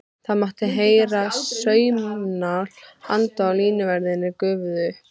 Það mátti heyra saumnál anda og línuverðirnir gufuðu upp.